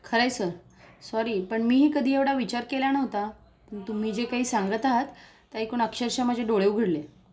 खरंय sir sorry पण मी ही कधी एवढा विचार केला नव्हता, तुम्ही जे काही सांगत आहात ते एकूण अक्षरशः माझे डोळे उघडले